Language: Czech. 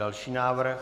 Další návrh.